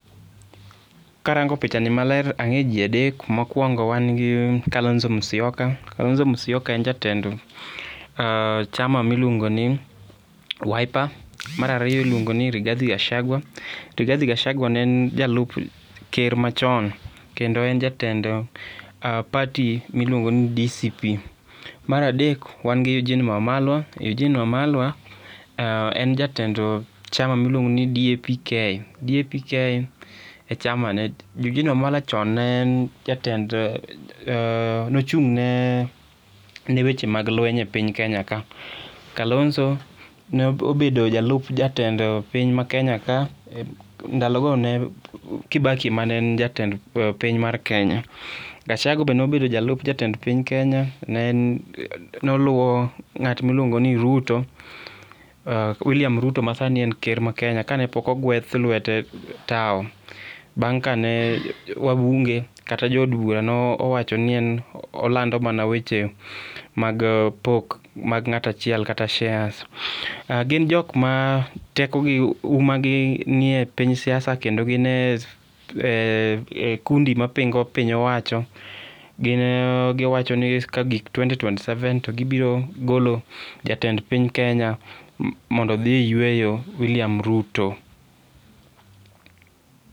Karango pichani maler ang'e ji adek. Mokwongo wan gi Kalonzo Musyoka. Kalonzo Musyoka en jatend chama miluongo ni Wiper. Mar ariyo iluongo ni Rihathi Gachagua. Rigathi Gachagua ne en jalup ker machon kendo en jatend party miluongo ni DCP. Mar adek wan gi Eugine Wamalwa. Eugine Wamalwa en jatend chama miluongo ni DAP-K. DAP-K e chama ne. Eugine Wamalwa chon ne en jatend nochung' ne weche mag lweny e piny Kenya ka. Kalonzo ne obedo jalup jatend piny ma Kenya ka. Ndalogo ne en Kibaki mane en jatend piny mar Kenya. Gachagua be nobedo jalup jatend piny Kenya. Noluwo ng'at miluongo ni Ruto. William Ruto ma sani en ker ma Kenya kane pok ogweth lwete tawo bang' kane wabunge kata jo od bura nowacho ni en olando mana weche mag pok mag ng'at achiel kata shares. Gin jok ma tekogi uma gi nie piny siasa kendo gin e kundi mapingo piny owacho. Gin giwacho ni kagik twenty twenty seven to gibiro golo jatend piny Kenya mondo dhi e yweyo William Ruto.